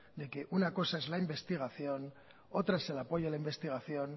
de que una cosa es la investigación otra es el apoyo a la investigación